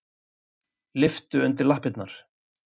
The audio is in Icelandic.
Lyftu undir lappirnar.